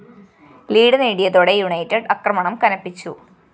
lead നേടിയതോടെ United ആക്രമണം കനപ്പിച്ചു